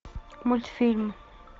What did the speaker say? мультфильм